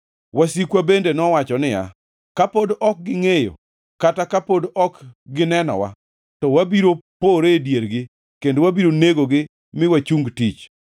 Wasikwa bende nowacho niya, “Ka pod ok gi ngʼeyo kata ka pod ok gi nenowa, to wabiro poree e diergi kendo wabiro negogi mi wachung tich.”